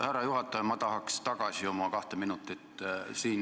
Härra juhataja, ma tahaks oma kahte minutit tagasi.